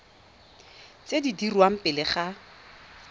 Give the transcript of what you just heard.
tse di dirwang pele ga